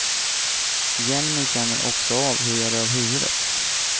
Hjälmen känner också av hur jag rör huvudet.